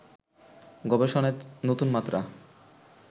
গবেষণায় নতুনমাত্রা